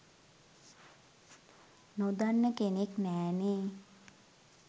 නොදන්න කෙනෙක් නෑනේ.